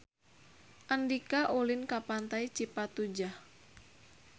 Andika ulin ka Pantai Cipatujah